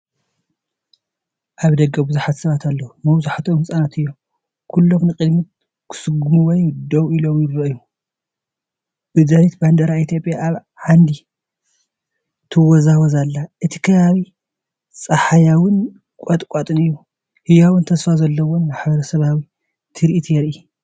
ኣብ ደገ ብዙሓት ሰባት ኣለዉ፡ መብዛሕትኦም ህጻናት እዮም። ኩሎም ንቕድሚት ክስጉሙ ወይ ደው ኢሎም ይረኣዩ። ብድሕሪት ባንዴራ ኢትዮጵያ ኣብ ዓንዲ ትወዛወዝ ኣላ። እቲ ከባቢ ጸሓያዊን ቁጥቋጥን እዩ። ህያውን ተስፋ ዘለዎን ማሕበረሰባዊ ትርኢት የርኢ፡፡